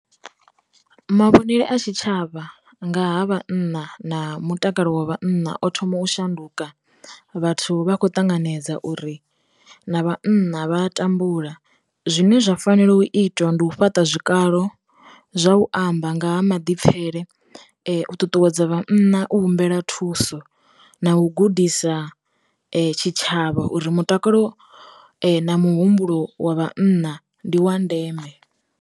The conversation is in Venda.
Mavhonele a tshi tshavha nga ha vhana na mutakalo wa vhanna o thoma u shanduka, vhathu vha khou ṱanganedza uri, na vhana vha tambula. Zwine zwa fanela u itwa ndi u fhaṱa zwikalo zwa u amba nga ha maḓipfele, u ṱuṱuwedza vhana u humbela thuso, na u gudisa tshitshavha uri mutakalo na muhumbulo wa vhanna ndi wa ndeme.